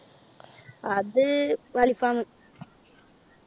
അത്~ അൽഫാമ്